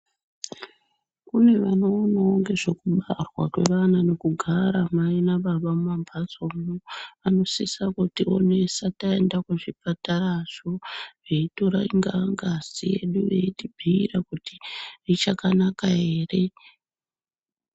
Kune vanoonawo ngezvekubarwa kwevana nekugara mai nababa mumambatsomwo vanosisa kutionesa taenda kuzvipatara veitora ngazi yedu veitibhuyira kuti ichakanaka ere .